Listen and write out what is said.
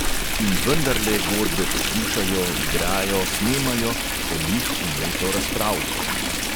In vendarle godbe poslušajo, igrajo, snemajo, o njih vneto razpravljajo.